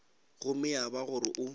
gomme ya ba gore o